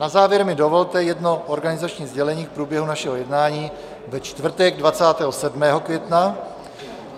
Na závěr mi dovolte jedno organizační sdělení k průběhu našeho jednání ve čtvrtek 27. května.